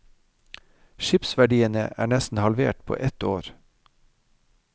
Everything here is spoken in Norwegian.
Skipsverdiene er nesten halvert på ett år.